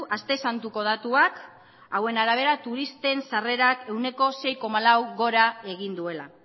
aste santuko datuak hauen arabera turisten sarrerak ehuneko sei koma lau gora egin duela